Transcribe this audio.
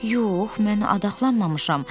Yox, mən adaxlanmamışam.